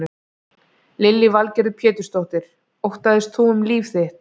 Lillý Valgerður Pétursdóttir: Óttaðist þú um líf þitt?